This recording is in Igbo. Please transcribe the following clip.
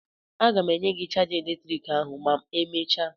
Aga m enye gị chaja eletriki ahụ ma emechaa!